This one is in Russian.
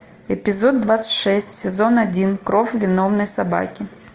эпизод двадцать шесть сезон один кровь виновной собаки